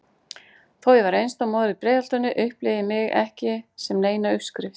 Þó ég væri einstæð móðir í Breiðholtinu upplifði ég mig ekki sem neina uppskrift.